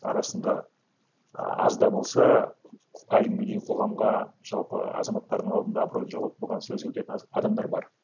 арасында а азда болса әлі күнге дейін қоғамға жалпы азаматтардың алдында абыройын жоғалтпаған сөзі өтетін адамдар бар